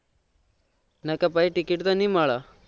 નહી તો પછી ticket તો નહી મળે